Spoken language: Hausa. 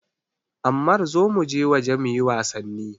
Ammar zo muje waje muyi wasanni!